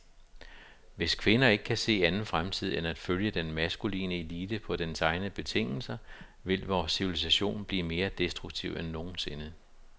Hvis kvinder ikke kan se anden fremtid end at følge den maskuline elite på dens egne betingelser, vil vor civilisation blive mere destruktiv end nogensinde.